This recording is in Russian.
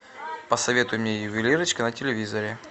посоветуй мне ювелирочка на телевизоре